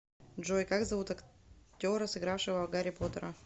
джой как зовут актера сыгравшего гарри потера